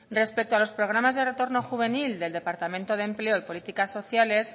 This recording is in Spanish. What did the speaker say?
respecto a los programas de retorno juvenil del departamento de empleo y políticas sociales